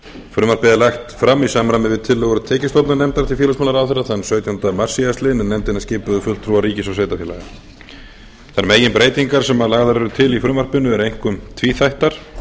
frumvarpið er lagt fram í samræmi við tillögur tekjustofnanefndar til félagsmálaráðherra þann sautjánda mars síðastliðinn en nefndina skipuðu fulltrúar ríkis og sveitarfélaga þær meginbreytingar sem lagðar eru til í frumvarpinu eru einkum tvíþættar